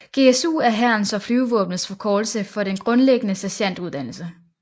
GSU er hærens og flyvevåbnets forkortelse for den grundlæggende sergentuddannelse